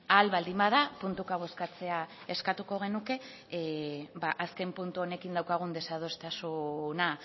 ahal baldin bada puntuka bozkatzea eskatuko genuke azken puntu honekin daukagun desadostasuna